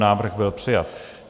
Návrh byl přijat.